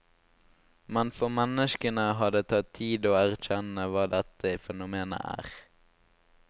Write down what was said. Men for menneskene har det tatt tid å erkjenne hva dette fenomenet er.